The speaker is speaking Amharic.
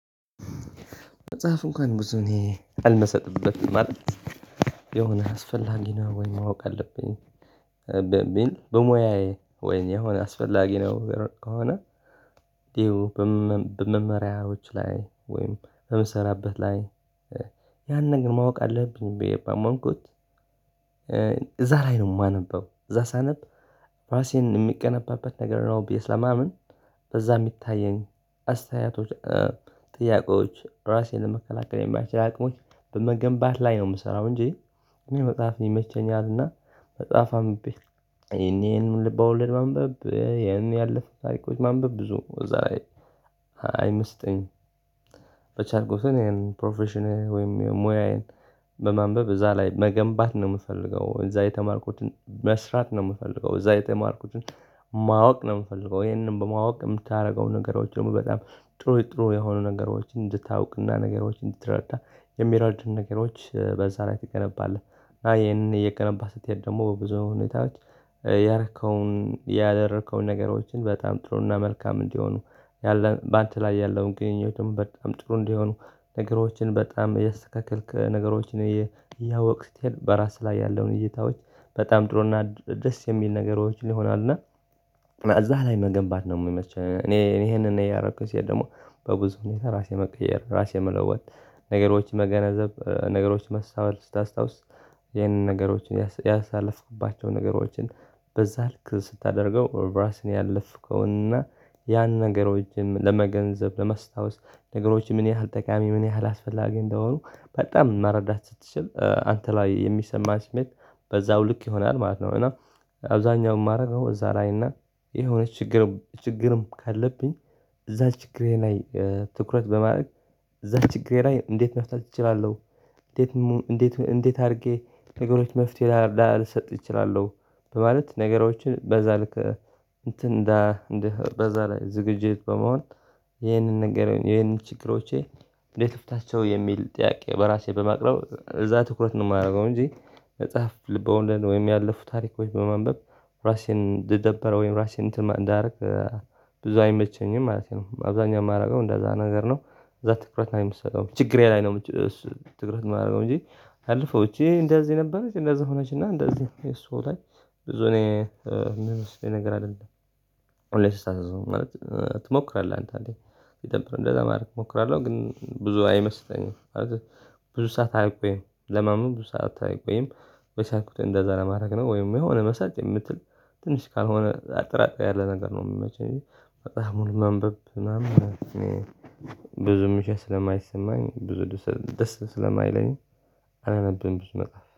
መጽሐፍ እንኳን ብዙ እኔ አልመሰጥበትም ማለት የሆነ አስፈላጊ ነው ወይ ማወቅ አለብኝ በሚልበሙያዬ ወይም አስፈላጊ ነው ከሆነ። ይሄው በመመሪያዎች ላይ ወይም በምሰራበት ላይ። ያንን ነገር ማወቅ አለብኝ ብየ ባመንኩት እዛ ላይ ነው የማነበው እዛ ሳነብ ራሴን የሚገነባበት ነገር ነው ብዬ ስለማምን በዛ የሚታየኝ አስተያየቶች ጥያቄዎች ራሴን ለመከላከል የማይችል አቅሞች በመገንባት ላይ ነው የምሰራው እንጂ እኔ መጽሐፍ ይመቸኛልና። መጽሐፍ አንብቤ ይሄን ይሄን ልብ ወለድ ማንበብ ይሄን ያለፈ ታሪኮች ማንበብ ብዙ እዛ ላይ አይምስጠኝም። በቻልኩ ግን ይሄን ፕሮፌሽነር ወይም ሙያዬን በማንበብ እዛ ላይ መገንባት ነው የምፈልገው እዛ የተማርኩትን መስራት ነው የምፈልገው እዛ የተማርኩትን ማወቅ ነው የምፈልገው። ይሄንን በማወቅ የምታደርገው ነገሮች ደግሞ በጣም ጥሩ ጥሩ የሆኑ ነገሮችን እንድታውቅና ነገሮች እንድትረዳ የሚረዱን ነገሮች በዛ ላይ ትገነባለህ። እና ይሄንን እየገነባህ ስትሄድ ደግሞ በብዙ ሁኔታዎች ያረከውን ያደረከውን ነገሮችን በጣም ጥሩና መልካም እንዲሆኑ ያለን በአንተ ላይ ያለውን ግንኙነትም በጣም ጥሩ እንዲሆኑ ነገሮችን በጣም እያስተካከልክ ነገሮችን እያወክ ስትሄድ በራስህ ላይ ያለውን እይታዎች በጣም ጥሩና ደስ የሚል ነገሮችን ይሆናል። እና እዛ ላይ መገንባት ነው የሚመች እኔ እኔ ይሄንን እያረኩኝ ሲሄድ ደግሞ በብዙ ሁኔታ ራሴ መቀየር ራሴ መለወጥ። ነገሮችን መገነዘብ ነገሮችን መስተዋት ስታስታውስ ይሄንን ነገሮችን ያሳለፍኩባቸው ነገሮችን በዛ ልክ ስታደርገው ኦር ራስን ያለፍከውንና ያን ነገሮችንም ለመገንዘብ ለመስታወስ ነገሮች ምን ያህል ጠቃሚ ምን ያህል አስፈላጊ እንደሆኑ በጣም መረዳት ስትችል አንተ ላይ የሚሰማህ ስሜት በዛው ልክ ይሆናል ማለት ነው። እና አብዛኛው የማደርገው እዛ ላይ እና የሆነ ችግር ችግርም ካለብኝ እዛ ችግሬ ላይ ትኩረት በማድረግ እዛ ችግሬ ላይ እንዴት መፍታት እችላለሁ? እንዴት እንዴት እንዴት አድርጌ ነገሮች መፍትሄ ላላልሰጥ እችላለሁ? በማለት ነገሮችን በዛ ልክ እንትን እንደ እንደ በዛ ላይ ዝግጅት በመሆን ይህንን ንገር ይህንን ችግሮቼ እንዴት ልፍታቸው የሚል ጥያቄ በራሴ በማቅረብ እዛ ትኩረት ነው የማደርገው እንጂ። መጽሐፍ ልበ ወለድ ነው ወይም ያለፉ ታሪኮች በማንበብ ራሴን ልደበረው ወይም ራሴን እንትን እንዳደርግ ብዙ አይመቸኝም ማለት ነው። አብዛኛው የማደርገው እንደዛ ነገር ነው እዛ ትኩረት ነው የምሰጠው ችግሬ ላይ ነው። ትኩረት የማደርገው እንጂ አልፈው እቺ እንደዚህ ነበረች እንደዚህ ሆነችና እንደዚህ እሱ ላይ ብዙ እኔ የምመስለኝ ነገር አይደለም። ላይ ስታስብ ማለት ትሞክራለህ አንተ እንዴ? የተለመደ ማለት እሞክራለሁ ግን ብዙ አይመስጠኝም ማለት ብዙ ሰዓት አያቆይም ለማመን ብዙ ሰዓት አያቆይም። በቻልኩት እንደዛ ለማድረግ ነው ወይም የሆነ መሳጥ የምትል ትንሽ ካልሆነ አጠራጣሪ ያለ ነገር ነው የምመቸኝ። በጣም ሙሉ መንበብ ማመን እኔ ብዙም ሻሽ ስለማይሰማኝ ብዙ ደስ ስለማይለኝ አላነብም። ብዙ መጽሐፍ